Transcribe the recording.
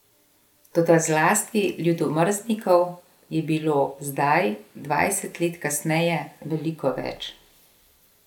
Toda zlasti ljudomrznikov je bilo zdaj dvajset let kasneje veliko več.